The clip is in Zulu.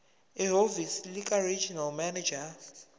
ehhovisi likaregional manager